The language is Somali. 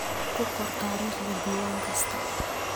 Ku qor taariikhda diiwaan kasta.